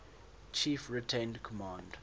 chief retained command